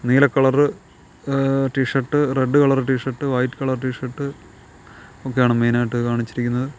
നീല കളറ് ഏഹ് T shirt red colour T shirt white colour T shirt ഒക്കെയാണ് മെയിൻ ആയിട്ട് കാണിച്ചിരിക്കുന്നത്.